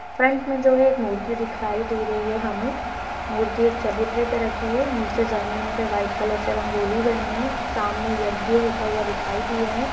Front में जो है एक मूर्ति दिखाई दे रही है हमें। मूर्ति चबूतरे पर रखी है नीचे जमीन पर वाइट कलर से रंगोली बनी है सामने यक्ष होता हुआ दिखाई दे रहा है।